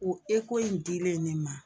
O in dilen ne ma